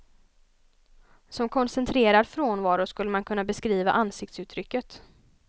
Som koncentrerad frånvaro skulle man kunna beskriva ansiktsuttrycket.